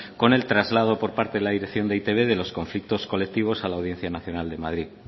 con el traslado por parte de e i te be de los conflictos colectivos a la audiencia nacional de madrid